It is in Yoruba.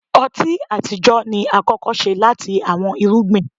ọti atijọ ni akọkọ ṣe lati awọn irugbin.